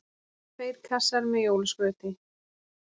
Tveir kassar með jólaskrauti.